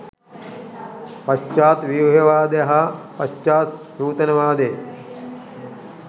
පශ්චාත් ව්‍යුහවාදය හා පශ්චාත් නූතනවාදය